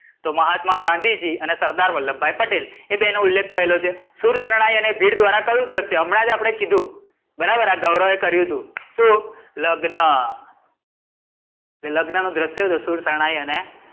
તો મહાત્મા ગાંધીજી અને સરદાર વલ્લભભાઇ પટેલ એ બેનો ઉલ્લેખ થયેલો છે. શૂરશરણાઈ અને ભીડ ધ્વારા કયું ધ્રશ્ય, હમણાં જ આપણે કીધું બરાબર આ ગૌરવે કર્યું તું શું? લગ્ન. લગ્ન નું ધ્રસ્ય છે શૂરશરણાઈ અને,